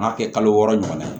N m'a kɛ kalo wɔɔrɔ ɲɔgɔn na